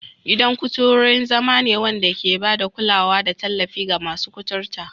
Gidan kuturu wurin zama ne wanda ke ba da kulawa da tallafi ga masu kuturta.